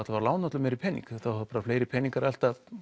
að lána öllum meiri pening þá verða meiri peningar að elta